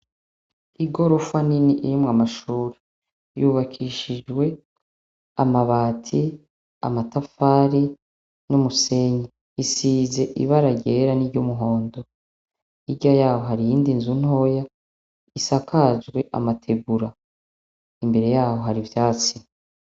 Igorofa nini irimwo amashuri, yubakishijwe amabati, amatafari n'umusenyi, isize ibara ryera n'iryumuhondo, hirya yaho hari iyindi nzu ntoya isakajwe amategura, imbere yaho hari ivyatsi.